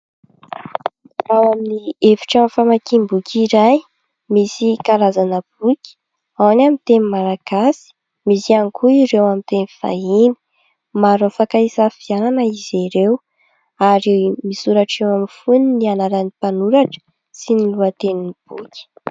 Ao amin'ny efitrano famakiam-boky iray misy karazana boky ao : ny amin'ny teny malagasy, misy ihany koa ireo amin'ny teny vahiny, maro afaka hisafidianana izy ireo ary misoratra eo amin'ny fonony ny anaran'ny mpanoratra sy ny lohatenin'ny boky.